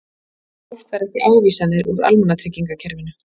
Fólk fær ekki ávísanir úr almannatryggingakerfinu